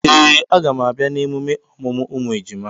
Ee! A gam abịa na emume ọmụmụ ụmụ ejima.